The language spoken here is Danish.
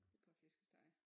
Et par flæskesteg